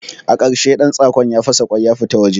A ƙarshe ɗantsakon ya fasa kwan ya fito waje